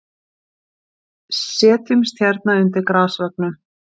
Setjumst hérna undir grasveggnum.